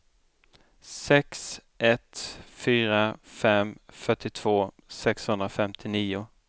sex ett fyra fem fyrtiotvå sexhundrafemtionio